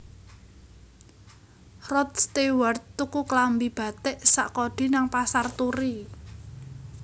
Rod Stewart tuku klambi batik sak kodi nang Pasar Turi